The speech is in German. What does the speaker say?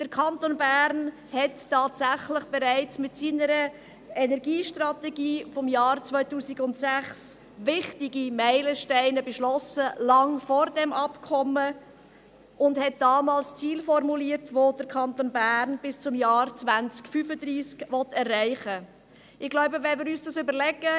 Der Kanton Bern beschloss tatsächlich bereits mit seiner Energiestrategie von 2006 wichtige Meilensteine, lange vor dem Abkommen, und formulierte damals Ziele, die der Kanton Bern bis zum Jahr 2035 erreichen will.